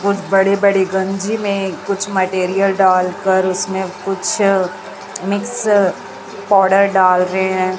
कुछ बड़े बड़े गंजी में कुछ मैटीरियल डाल कर उस में कुछ मिक्स पाउडर डाल रहे हैं।